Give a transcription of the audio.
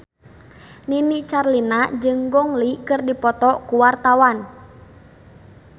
Nini Carlina jeung Gong Li keur dipoto ku wartawan